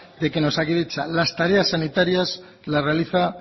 de que en osakidetza las tareas sanitarias las realiza